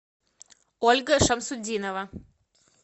ольга шамсутдинова